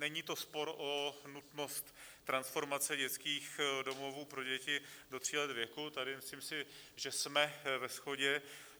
Není to spor o nutnost transformace dětských domovů pro děti do tří let věku, tady myslím si, že jsme ve shodě.